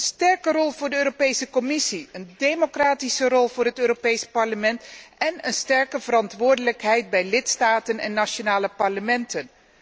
Een sterke rol voor de Europese Commissie, een democratische rol voor het Europees Parlement en een sterke verantwoordelijkheid bij lidstaten en nationale parlementen.